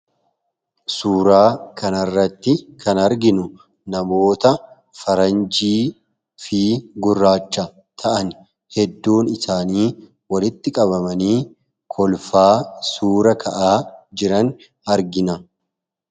Suuraa kanarratti kan arginu namoota faranjii fi gurraacha ta'an hedduun isaanii walitti qabamanii kolfaa, suura ka'aa jiran argina.